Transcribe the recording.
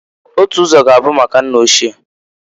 Otu ụzọ g'abụ maka nna ochie.